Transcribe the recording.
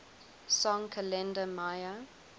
song kalenda maya